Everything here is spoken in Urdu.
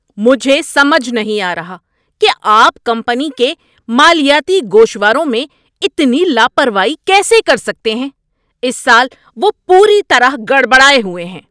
مجھے سمجھ نہیں آ رہا کہ آپ کمپنی کے مالیاتی گوشواروں میں اتنی لاپروائی کیسے کر سکتے ہیں۔ اس سال وہ پوری طرح گڑبڑائے ہوئے ہیں۔